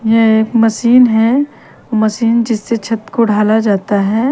यह एक मशीन है मशीन जिस छत को ढाला जाता है।